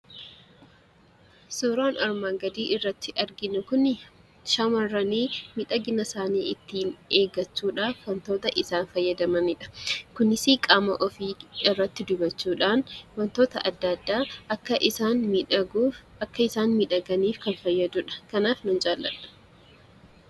Suuraan armaan gadiirratti arginu kuni shamarran miidhagina isaanii ittiin eeggachuudhaaf wanta isaan fayyadamanidha. Kunis qaama ofii irratti dibachuudhaan akka isaan miidhaganni kan fayyadudha. Kanaaf nan jaalladha.